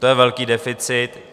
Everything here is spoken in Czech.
To je velký deficit.